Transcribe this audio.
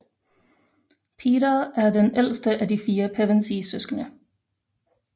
Peter er den ældste af de fire pevensiesøskende